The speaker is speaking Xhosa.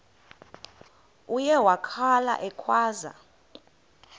uye wakhala ekhwaza